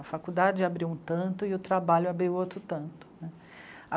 A faculdade abriu um tanto e o trabalho abriu outro tanto né.